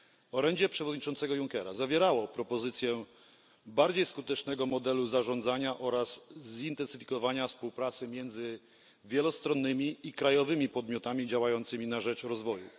Orędzie przewodniczącego Junckera zawierało propozycje bardziej skutecznego modelu zarządzania oraz zintensyfikowania współpracy między wielostronnymi i krajowymi podmiotami działającymi na rzecz rozwoju.